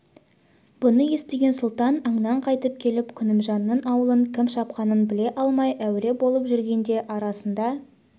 бұны естіген сұлтан аңнан қайтып келіп күнімжанның аулын кім шапқанын біле алмай әуре болып жүргенде арасында